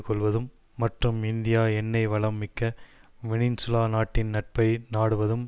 கொள்வதும் மற்றும் இந்தியா எண்ணெய் வளம் மிக்க வெனின்சுலா நாட்டின் நட்பை நாடுவதும்